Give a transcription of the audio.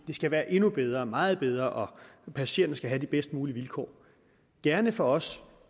det skal være endnu bedre være meget bedre og passagererne skal have de bedst mulige vilkår gerne for os